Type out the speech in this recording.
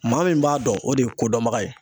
Maa min b'a dɔn ,o de ye kodɔnbaga ye.